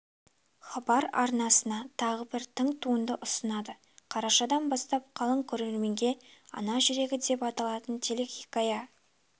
хабар арнасы тағы бір тың туынды ұсынады қарашадан бастап қалың көрерменге ана жүрегі деп аталатын телехикая